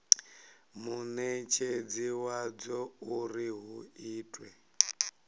munetshedzi wadzo uri hu itwe